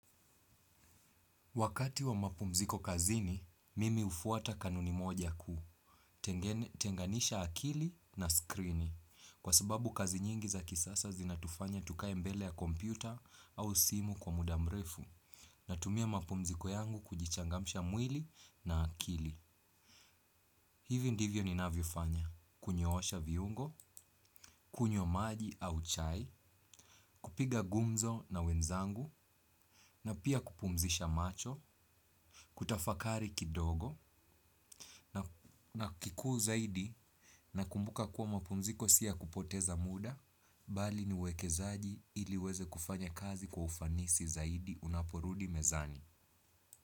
Wakati wa mapumziko kazini, mimi hufuata kanuni moja kuu, tenganisha akili na skrini, kwa sababu kazi nyingi za kisasa zinatufanya tukae mbele ya kompyuta au simu kwa muda mrefu, natumia mapumziko yangu kujichangamsha mwili na akili. Hivi ndivyo ninavyofanya, kunyoosha viungo, kunywa maji au chai, kupiga gumzo na wenzangu, na pia kupumzisha macho, kutafakari kidogo, na kikuu zaidi, nakumbuka kuwa mapumziko si ya kupoteza muda, bali ni uwekezaji ili uweze kufanya kazi kwa ufanisi zaidi unaporudi mezani.